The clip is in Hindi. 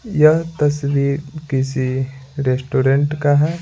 यह तस्वीर किसी रेस्टोरेंट का है।